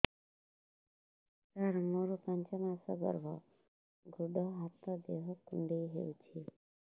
ସାର ମୋର ପାଞ୍ଚ ମାସ ଗର୍ଭ ଗୋଡ ହାତ ଦେହ କୁଣ୍ଡେଇ ହେଉଛି